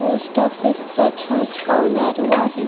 Post office च छत कौलारू आहे.